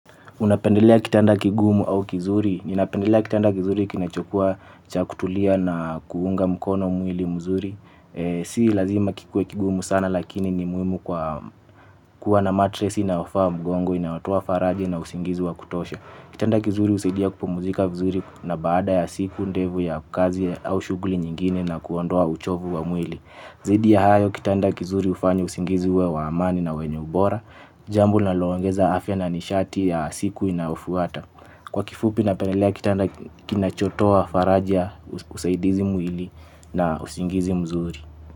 Unapendelea kitanda kigumu au kizuri? Ninapendelea kitanda kizuri kinachokuwa cha kutulia na kuunga mkono mwili mzuri. Si lazima kikuwe kigumu sana lakini ni muhimu kwa kuwa na matress inayofaa mgongo, inayotoa faraja na usingizi wa kutosha. Kitanda kizuri husaidia kupumzika vizuri na baada ya siku ndefu ya kazi au shughuli nyingine na kuondoa uchovu wa mwili. Zaidi ya hayo kitanda kizuri hufanya usingizi uwe wa amani na wenye ubora, jambo linaloongeza afya na nishati ya siku inayofuata. Kwa kifupi napendelea kitanda kinachotoa faraja usaidizi mwili na usingizi mzuri.